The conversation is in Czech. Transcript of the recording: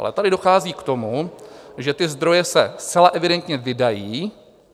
Ale tady dochází k tomu, že ty zdroje se zcela evidentně vydají.